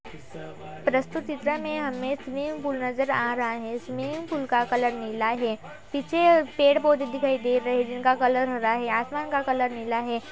प्रस्तुत चित्र में हमें स्विमिंग पुल नजर आ रहा हैं। स्विमिंग पुल का कलर नीला है। पीछे पेड़-पौधें दिखाई दे रहा है जिनका कलर हरा है। आसमान का कलर नीला है।